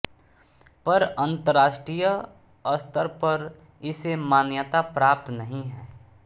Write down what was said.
पर अन्तर्राष्ट्रीय स्तर पर इसे मान्यता प्राप्त नहीं है